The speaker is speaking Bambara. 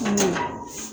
An tɛ taa